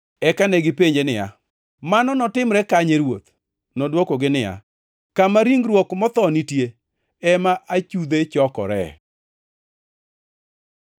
Eka negipenje niya, “Mano notimre kanye, Ruoth?” Nodwokogi niya, “Kama ringruok motho nitie, ema achudhe chokore.”